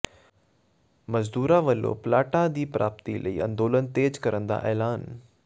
ਮਜ਼ਦੂਰਾਂ ਵੱਲੋਂ ਪਲਾਟਾਂ ਦੀ ਪ੍ਰਾਪਤੀ ਲਈ ਅੰਦੋਲਨ ਤੇਜ਼ ਕਰਨ ਦਾ ਐਲਾਨ